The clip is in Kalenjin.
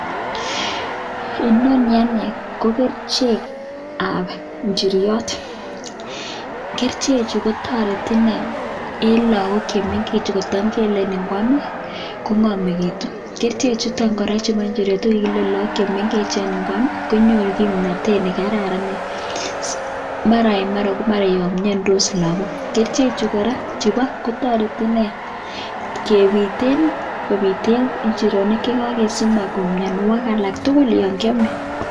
Inoni ko kerchek ab inchriot kerchek Chu kotareti inei en log ok chemengechen chekele ngwam kongamekitun kerchek chuton chebo injirenik ingwam lagok chemengechen kokimekitun ak kimnatet neon mara en mara ko yamiandos lagok kerchek Chu kora kotareti inei kebiten injirenik chekakesik mianwagikalaktugul yangiame.